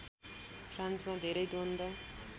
फ्रान्समा धेरै द्वन्द